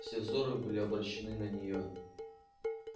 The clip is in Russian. все взоры были обращены на нее